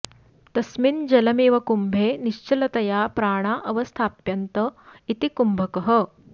तस्मिन् जलमिव कुम्भे निश्चलतया प्राणा अवस्थाप्यन्त इति कुम्भकः